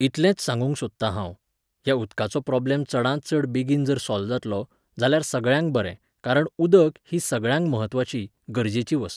इतलेंच सागूंक सोदतां हांव, ह्या उदकाचो प्रॉब्लम चडांत चड बेगीन जर सॉल्व जातलो, जाल्यार सगळ्यांक बरें कारण उदक, ही सगळ्यांक म्हत्वाची, गरजेची वस्त.